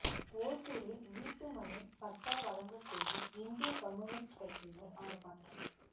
ஒசூரில் வீட்டுமனைப் பட்டா வழங்கக் கோரி இந்திய கம்யூனிஸ்ட் கட்சியினா் ஆா்ப்பாட்டம்